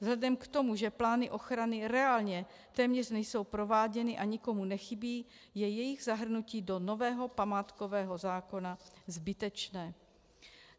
Vzhledem k tomu, že plány ochrany reálně téměř nejsou prováděny a nikomu nechybí, je jejich zahrnutí do nového památkového zákona zbytečné.